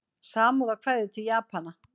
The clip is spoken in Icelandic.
Samúðarkveðjur til Japana